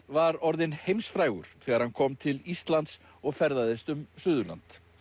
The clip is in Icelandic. var orðinn heimsfrægur þegar hann kom til Íslands og ferðaðist um Suðurland